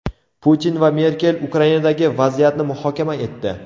Putin va Merkel Ukrainadagi vaziyatni muhokama etdi .